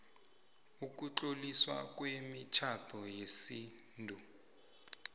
ukutloliswa kwemitjhado yesintu